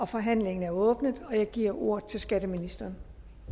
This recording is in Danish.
forhandlingen er åbnet og jeg giver ordet til skatteministeren